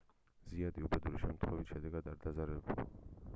ზაიატი უბედური შემთხვევის შედეგად არ დაზარალებულა